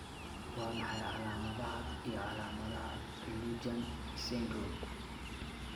Waa maxay calaamadaha iyo calaamadaha Lujan syndrome?